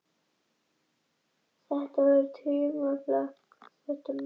Sýnist þar sitt hverjum og er langtífrá að nokkur allsherjarskoðun ríki um þetta mál.